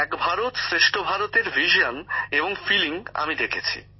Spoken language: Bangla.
এক ভারত শ্রেষ্ঠ ভারতের ভাবনা এবং অনুভূতি আমি দেখেছি